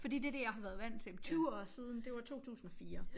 Fordi det det jeg har været vant til 20 år siden det var 2004